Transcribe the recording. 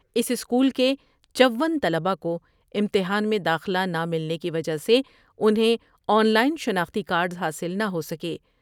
اس school کے چون طلباءکوامتحان میں داخلہ نہ ملنے کی وجہہ سے انہیں آن لائن شناختی کارڈس حاصل نہ ہو سکے ۔